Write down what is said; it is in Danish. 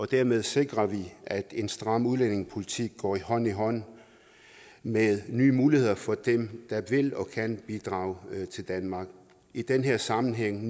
dermed sikrer vi at en stram udlændingepolitik går hånd i hånd med nye muligheder for dem der vil og kan bidrage til danmark i den her sammenhæng